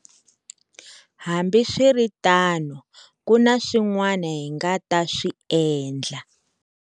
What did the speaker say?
Hambiswiritano, ku na swin'wana hi nga ta swi endla.